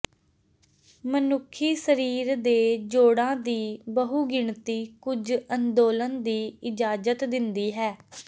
ਮਨੁੱਖੀ ਸਰੀਰ ਦੇ ਜੋੜਾਂ ਦੀ ਬਹੁਗਿਣਤੀ ਕੁਝ ਅੰਦੋਲਨ ਦੀ ਇਜਾਜ਼ਤ ਦਿੰਦੀ ਹੈ